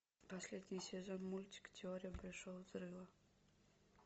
последний сезон мультика теория большого взрыва